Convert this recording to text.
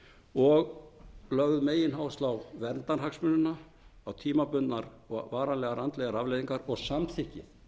og lögð megináhersla á verndarhagsmunina á tímabundnar og varanlegar andlegar afleiðingar og samþykki